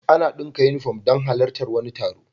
Ana daka inufom don halar tar wani taro